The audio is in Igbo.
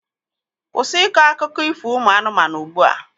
Kwụsị ịkọ akụkọ ifo ụmụ anụmanụ ugbua!